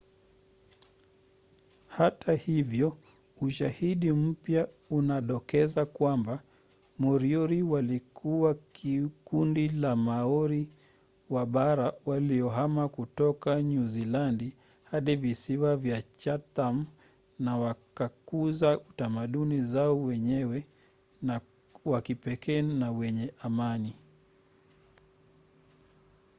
hata hivyo ushahidi mpya unadokeza kwamba moriori walikuwa kundi la maori wa bara waliohama kutoka nyuzilandi hadi visiwa vya chatham na wakakuza utamaduni wao wenyewe wa kipekee na wenye amani